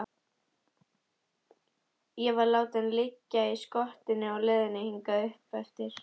Ég var látinn liggja í skottinu á leiðinni hingað uppeftir.